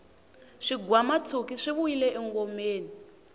swigwamatshuki swi vuyile engomeni